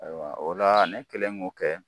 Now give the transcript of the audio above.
Ayiwa o la ne kelen m'o kɛ.